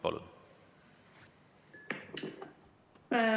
Palun!